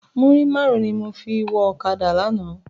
Múrí márùn ni mó fi wò òkádá làná